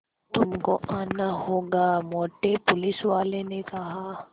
तुमको आना होगा मोटे पुलिसवाले ने कहा